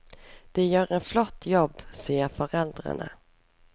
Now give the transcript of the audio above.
De gjør en flott jobb, sier foreldrene.